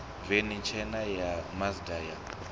veni tshena ya mazda ya